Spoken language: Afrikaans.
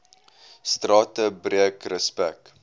strate breek respek